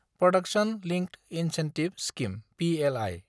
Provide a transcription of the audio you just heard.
production linked incentive scheme (PLI)